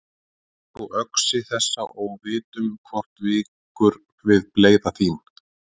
Tak þú öxi þessa og vitum hvort víkur við bleyða þín.